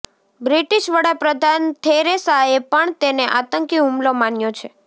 British વડાપ્રધાન થેરેસાએ પણ તેને આતંકી હુમલો માન્યો છે